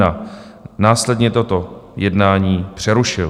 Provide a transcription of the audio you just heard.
Následně toto jednání přerušil.